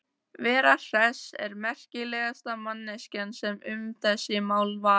Vera Hress er merkilegasta manneskjan sem um þessi mál talar.